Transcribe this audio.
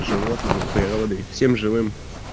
животными природой всем живым